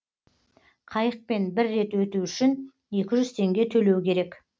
қайықпен бір рет өту үшін екі жүз теңге төлеу керек